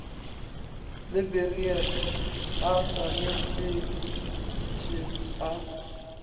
le beryl a swaneteše a